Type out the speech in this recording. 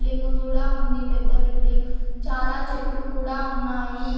Building కూడా ఉంది పెద్ద బిల్డింగ్ చాలా చెట్లు కూడా ఉన్నాయి.